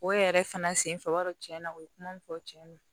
O yɛrɛ fana senfɛ o b'a sɔrɔ tiɲɛ na o ye kuma mun fɔ tiɲɛ na